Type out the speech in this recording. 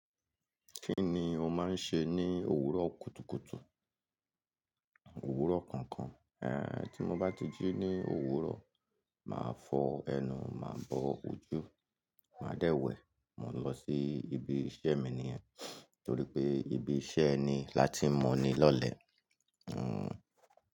Kí ni o máa ń ṣe ní òwúrọ̀ kùtùkùtù? Òwúrọ̀ kankan, eh tí mo bá tiji ní òwúrọ̀, màá fọ ẹnu, màá bọ ojú, màá dẹ̀ wẹ̀, mò ń lọ sí ibi iṣẹ́ mi nìyẹn, torí pé ibi iṣẹ́ eni láti mọ ní lọ́lẹ̀, hm.